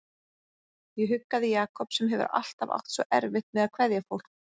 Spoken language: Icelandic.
Ég huggaði Jakob sem hefur alltaf átt svo erfitt með að kveðja fólk.